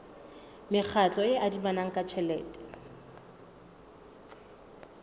mekgatlo e adimanang ka tjhelete